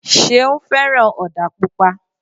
Ṣeun fẹ́ràn ọdà Pupa